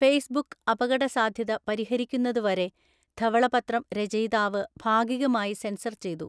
Facebook അപകടസാധ്യത പരിഹരിക്കുന്നതുവരെ ധവളപത്രം രചയിതാവ് ഭാഗികമായി സെൻസർ ചെയ്തു.